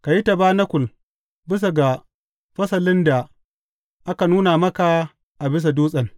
Ka yi tabanakul bisa ga fasalin da aka nuna maka a bisa dutsen.